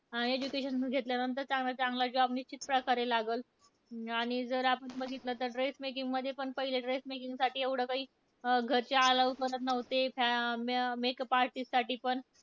Education पण घेतल्यानंतर चांगला चांगला job निश्चितप्रकारे लागंल. आणि जर आपण बघितलं तर dress making मध्ये पण पहिले dress making साठी एवढं काही, घरचे allow करत नव्हते. फ म Makeup artist साठी पण,